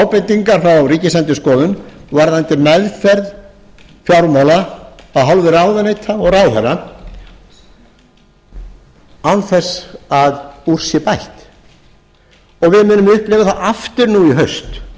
ábendingar frá ríkisendurskoðun varðandi meðferð fjármála af hálfu ráðuneyta og ráðherra án þess að úr sé bætt og við munum upplifa það aftur nú í